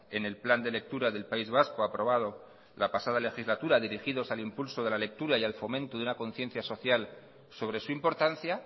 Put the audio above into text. en el plan de lectura del país vasco aprobado la pasada legislatura dirigidos al impulso de la lectura y al fomento de una conciencia social sobre su importancia